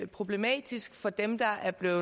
problematisk for dem der er blevet